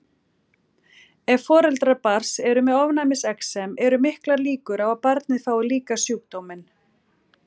Ef foreldrar barns eru með ofnæmisexem eru miklar líkur á að barnið fái líka sjúkdóminn.